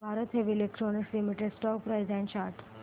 Bharat Heavy Electricals Limited stock price and chart